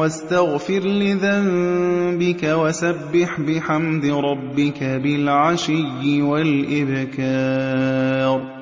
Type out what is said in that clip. وَاسْتَغْفِرْ لِذَنبِكَ وَسَبِّحْ بِحَمْدِ رَبِّكَ بِالْعَشِيِّ وَالْإِبْكَارِ